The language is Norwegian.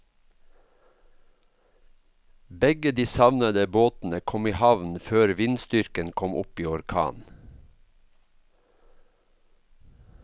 Begge de savnede båtene kom i havn før vindstyrken kom opp i orkan.